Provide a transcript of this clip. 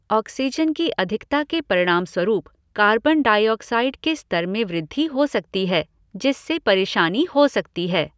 Oxygen की अधिकता के परिणामस्वरूप कार्बन डाइऑक्साइड के स्तर में वृद्धि हो सकती है जिससे परेशानी हो सकती है।